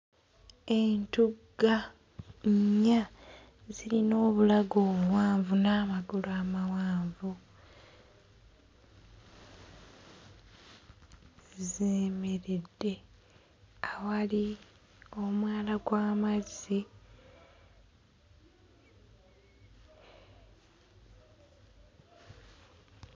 Entugga nnya zirina obulago obuwanvu n'amagulu amawanvu ziyimiridde awali omwala gw'amazzi.